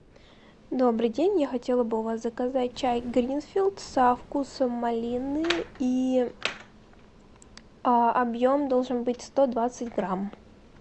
добрый день я хотела бы у вас заказать чай гринфилд со вкусом малины и объем должен быть сто двадцать грамм